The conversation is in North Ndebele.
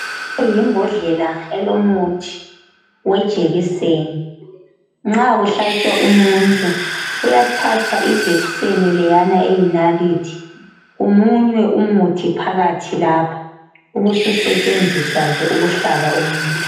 yimbodlela elomuthi wejekiseni nxa kuhlatshwa umuntu kuyathathwa ijekiseni leyana eyinalithi kumunywe umuthi phakathi lapha ubususetshenziswa ke ukuhlaba umuntu